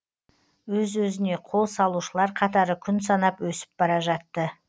өз өзіне қол салушылар қатары күн санап өсіп бара жатты